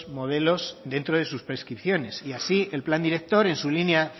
modelos dentro de sus prescripciones y así el plan director en su línea